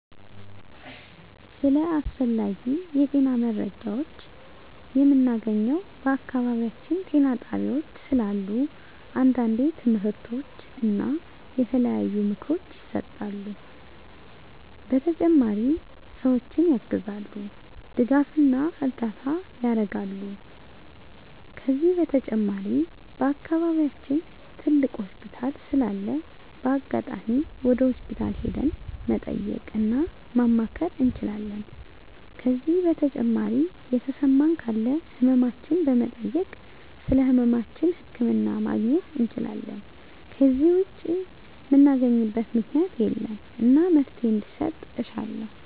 ስለ አስፈላጊ የጤና መረጃዎችን ምናገኘው በአካባቢያችን ጤና ጣቤያዎች ስላሉ አንዳንዴ ትምህርቶች እና የተለያዩ ምክሮች ይሰጣሉ በተጨማሪ ሰዎችን ያግዛሉ ድጋፍና እርዳታ ያረጋሉ ከዚህ በተጨማሪ በአከባቢያችን ትልቅ ሆስፒታል ስላለ በአጋጣሚ ወደ ሆስፒታል ሄደን መጠየቅ እና ማማከር እንችላለን ከዜ በተጨማሪ የተሰማን ካለ ህመማችን በመጠየክ ስለህመማችን ህክምና ማግኘት እንችላለን ከዜ ውጭ ምናገኝበት ምክኛት የለም እና መፍትሔ እንዲሰጥ እሻለሁ